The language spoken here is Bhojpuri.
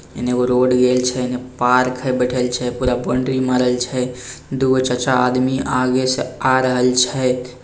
हिन्ने एगो रोड गेल छे हिन्ने पार्क हे में बैठल छे पूरा मारे छे दुगो चचा आदमी आगे से आ रहल छे।